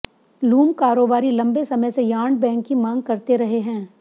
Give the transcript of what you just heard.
loom कारोबारी लंबे समय से यार्न बैंक की मांग करते रहे हैं